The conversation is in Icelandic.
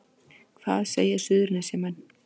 Hvað segja Suðurnesjamenn